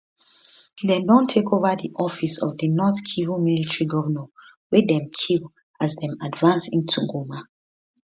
dem don take over di office of di north kivu military governor weydem kill as dem advance into goma